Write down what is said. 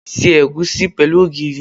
Se egusi pẹ̀lú ogìrì.